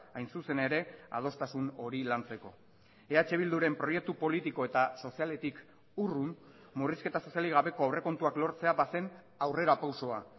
hain zuzen ere adostasun hori lantzeko eh bilduren proiektu politiko eta sozialetik urrun murrizketa sozialik gabeko aurrekontuak lortzea bazen aurrerapausoa